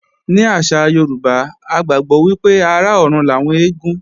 Ní àṣà Yorùbá, a gbàgbọ́ wípé ará ọrùn làwọn eégún